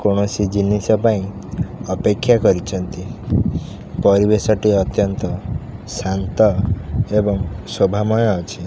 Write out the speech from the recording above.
କୌଣସି ଜିନିଷ ପାଇଁ ଅପେକ୍ଷା କରିଚନ୍ତି ପରିବେଶ ଟି ଅତ୍ୟନ୍ତ ଶାନ୍ତ ଏବଂ ଶୋଭାମୟ ଅଛି।